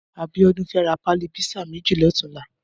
Abiodun fè rà pàlí pizza mèji lòtúnlà